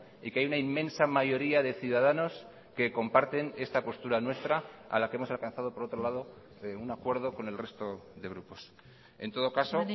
y que hay una inmensa mayoría de ciudadanos que comparten esta postura nuestra a la que hemos alcanzado por otro lado un acuerdo con el resto de grupos en todo caso